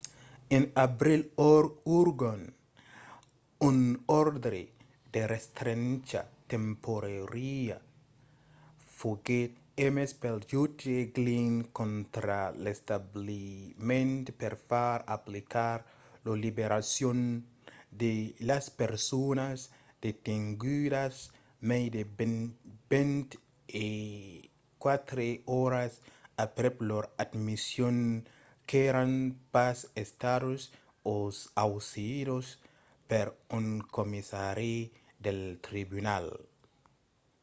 en abril ongan un òrdre de restrencha temporària foguèt emés pel jutge glynn contra l'establiment per far aplicar la liberacion de las personas detengudas mai de 24 oras aprèp lor admission qu'èran pas estadas ausidas per un commissari del tribunal